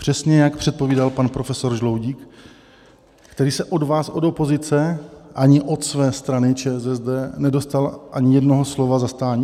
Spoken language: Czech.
Přesně jak předpovídal pan profesor Žaloudík, který se od vás, od opozice, ani od své strany ČSSD nedočkal ani jednoho slova zastání?